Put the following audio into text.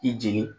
I jigi